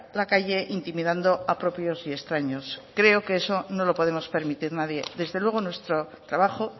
la calle intimidando a propios y extraños creo que eso no lo podemos permitir nadie desde luego nuestro trabajo